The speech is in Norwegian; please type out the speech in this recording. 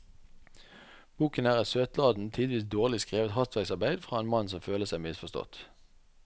Boken er et søtladent, tidvis dårlig skrevet hastverksarbeid fra en mann som føler seg misforstått.